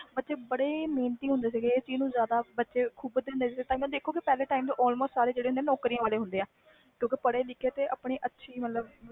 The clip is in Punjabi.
ਪਹਲੇ ਬੱਚੇ ਬੜੇ ਮੇਹਨਤੀ ਹੁੰਦੇ ਸੀ ਤੇ ਬੜੇ ਪੜ੍ਹੇ ਲਿਖੇ ਤੇ ਸਰਕਾਰੀ ਨੌਕਰੀਆਂ ਵਾਲੇ ਹੁੰਦੇ ਸੀ